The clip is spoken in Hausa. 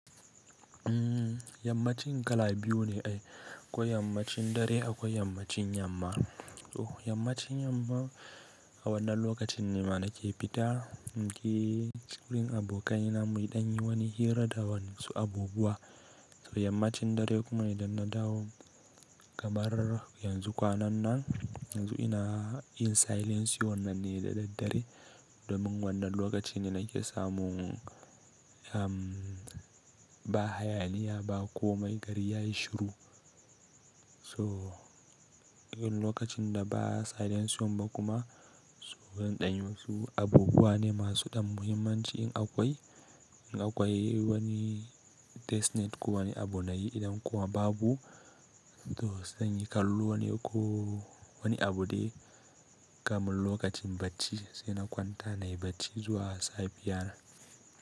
Yammacin kala biyu ne ai, akwai yammacin dare akwai yammacin yamma. To yammacin yamma a wannan lokacin ne ma na ke fita na je wurin abokaina mu ɗan yi wani hira da wa'insu abubuwa. To yammacin dare kuma idan na dawo kamar yanzu kwanan nan, yanzu ina yin silencion nan ne da daddare domin wannan lokaci ne nake samun ba hayaniya ba komai gari ya yi shiru. So idan lokacin da ba silencion ba kuma, so zan ɗan yi wasu abubuwa ne masu ɗan muhimmanci in akwai, in akwai wani destiny ko wani abu na yi idan kuwa babu to zan yi kallo ne ko wani abu dai kamar lokacin bacci sai na kwanta nayi bacci zuwa safiyana.